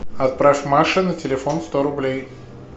отправь маше на телефон сто рублей